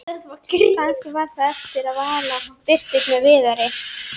Kannski mundi hún svara í símann og allt kæmist upp.